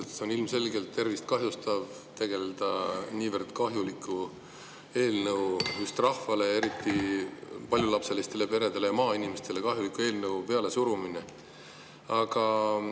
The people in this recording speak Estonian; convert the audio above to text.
Sest see on ilmselgelt tervist kahjustav, kui tegelda niivõrd kahjuliku eelnõu rahvale, sealhulgas paljulapselistele peredele ja maainimestele kahjuliku eelnõu pealesurumisega.